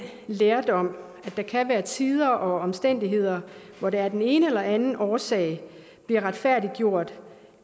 lærdom at der kan være tider og omstændigheder hvor det af den ene eller den anden årsag bliver retfærdiggjort